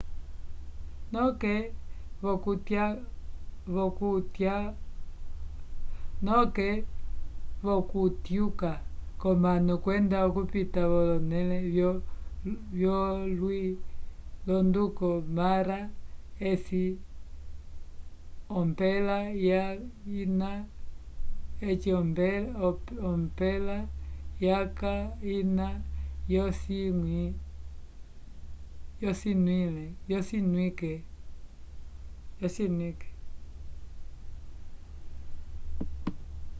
noke vokutyuka konano kwenda okupita vonele yo lwi londuko mara eci ompela yaca ina yo cinwike